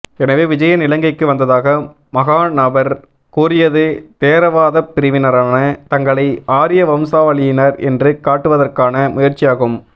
எனவே விஜயன் இலங்கைக்கு வந்ததாக மகாநாபர் கூறியது தேரவாதப் பிரிவினரான தங்களை ஆரிய வம்சாவளியினர் என்று காட்டுவதற்கான முயற்சியாகும்